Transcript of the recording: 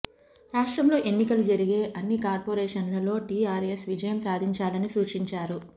రాష్ట్రంలో ఎన్నికలు జరిగే అన్ని కార్పొరేషన్లలో టీఆర్ఎస్ విజయం సాధించాలని సూచించారు